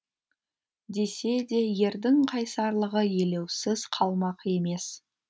десе де ердің қайсарлығы елеусіз қалмақ емес